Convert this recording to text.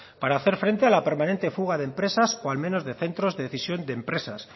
para hacer frente a la permanente fuga de empresas o al menos de centros de decisión de empresas